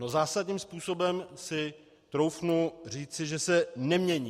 No, zásadním způsobem si troufnu říci, že se nemění.